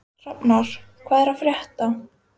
Hrafnar, hvað er að frétta?